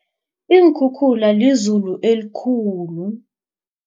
Iinkhukhula lizulu elikhulu.